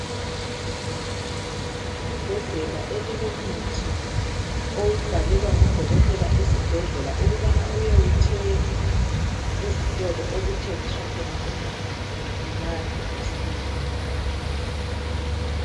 Ibhodlela elilomuthi owubhalelwa ngudokotela esibhedlela ukubana uyewuthenga ezitolo okuthengiswa khona umuthi unathe usile.